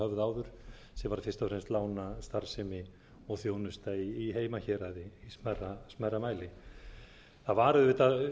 áður sem var fyrst og fremst lánastarfsemi og þjónusta í heimahéraði í smærra mæli það var auðvitað